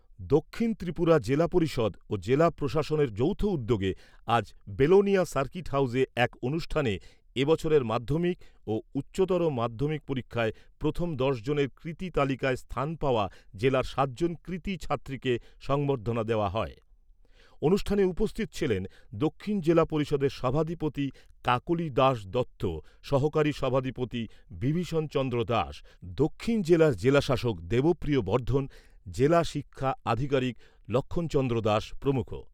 দক্ষিণ ত্রিপুরা জিলা পরিষদ ও জেলা প্রশাসনের যৌথ উদ্যোগে আজ বিলোনিয়া সার্কিট হাউজে এক অনুষ্ঠানে এ বছরের মাধ্যমিক ও উচ্চ মাধ্যমিক পরীক্ষায় প্রথম দশ জনের কৃতী তালিকায় স্থান পাওয়া জেলার সাত জন কৃতী ছাত্রীকে সংবর্ধনা দেওয়া হয়। অনুষ্ঠানে উপস্থিত ছিলেন দক্ষিণ জিলা পরিষদের সভাধিপতি কাকলি দাস দত্ত সহকারী সভাধিপতি বিভীষণ চন্দ্র দাস, দক্ষিণ জেলার জেলাশাসক দেবপ্রিয় বর্ধন, জেলা শিক্ষা আধিকারিক লক্ষ্মণ চন্দ্র দাস প্রমুখ৷